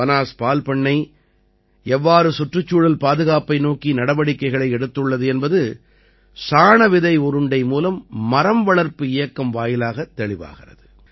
பனாஸ் பால்பண்ணை எவ்வாறு சுற்றுச்சூழல் பாதுகாப்பை நோக்கி நடவடிக்கைகளை எடுத்துள்ளது என்பது சாணவிதை உருண்டை மூலம் மரம் வளர்ப்புப் இயக்கம் வாயிலாகத் தெளிவாகிறது